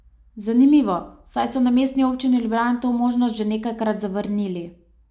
Zanimivo, saj so na Mestni občini Ljubljana to možnost že nekajkrat zavrnili.